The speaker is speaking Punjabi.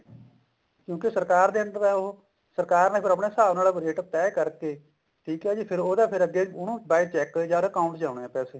ਕਿਉਂਕਿ ਸਰਕਾਰ ਦੇ under ਆ ਉਹ ਸਰਕਾਰ ਨੇ ਫ਼ੇਰ ਆਪਣੇ ਹਿਸਾਬ ਨਾਲ ਰੇਟ ਤੇ ਕਰਕੇ ਠੀਕ ਆ ਜੀ ਫ਼ੇਰ ਅੱਗੇ ਉਹਨੂੰ by cheque ਜਾਂ account ਚ ਆਉਣੇ ਆ ਪੈਸੇ